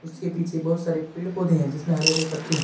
उसके पीछे बहुत सारे पेड़ पौधे है जिसमें हरे हरे पत्ते है.